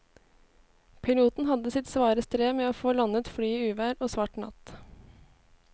Piloten hadde sitt svare strev med å få landet flyet i uvær og svart natt.